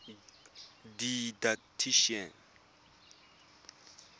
didactician